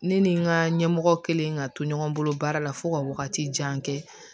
Ne ni n ka ɲɛmɔgɔ kɛlen ka to ɲɔgɔn bolo baara la fo ka wagati jan kɛ